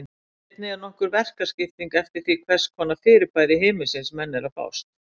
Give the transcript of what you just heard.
Einnig er nokkur verkaskipting eftir því við hvers konar fyrirbæri himinsins menn eru að fást.